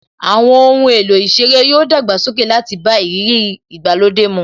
Àwọn ohun èlò ìṣeré yoo dàgbàsókè láti bá ìrírí ìgbàlódé mu